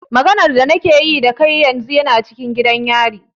Maganar da na ke yi da kai yana cikin gidan yari.